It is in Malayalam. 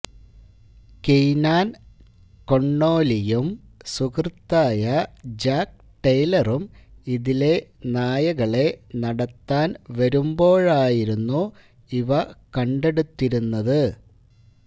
കിയ്നാൻ കൊണ്ണോല്ലിയും സുഹൃത്തായ ജാക്ക് ടെയ്ലറും ഇതിലെ നായകളെ നടത്താൻ വരുമ്പോഴായിരുന്നു ഇവ കണ്ടെടുത്തിരുന്നത്